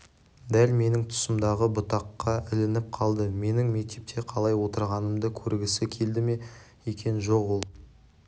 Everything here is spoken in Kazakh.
дәл менің тұсымдағы бұтаққа ілініп қалды менің мектепте қалай отырғанымды көргісі келді ме екен жо-жоқ ол